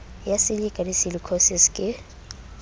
ya silikha le silikhosis ke